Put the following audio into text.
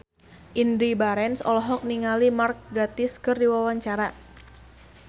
Indy Barens olohok ningali Mark Gatiss keur diwawancara